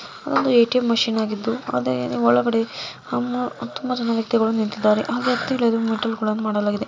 ಬಿಳಿ ಬಣ್ಣವನ್ನು ಹೊಡೆಯಲಾಗಿದೆ ಅಲ್ಲಿ ಎ.ಟಿ.ಎಂ. ಮೆಷಿನ್‌ ಇದ್ದು ಒಳಗಡೆ ತುಂಬಾ ಜನ ವ್ಯಕ್ತಿಗಳು ನಿಂತಿದ್ದಾರೆ. ಆ ವ್ಯಕ್ತಿಗಳು--